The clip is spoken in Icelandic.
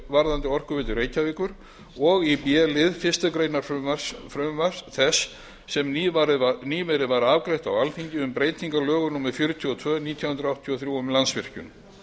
varðandi orkuveitu reykjavíkur og í b lið fyrstu grein frumvarps þess sem nýverið var afgreitt frá alþingi um breytingu á lögum númer fjörutíu og tvö nítján hundruð áttatíu og þrjú um landsvirkjun